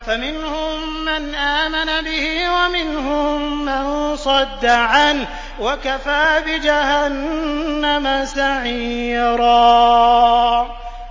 فَمِنْهُم مَّنْ آمَنَ بِهِ وَمِنْهُم مَّن صَدَّ عَنْهُ ۚ وَكَفَىٰ بِجَهَنَّمَ سَعِيرًا